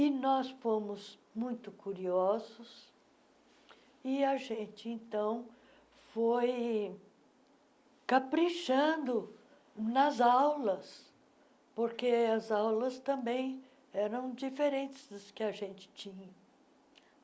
E nós fomos muito curiosos e a gente, então, foi caprichando nas aulas, porque as aulas também eram diferentes das que a gente tinha.